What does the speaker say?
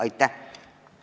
Aitäh!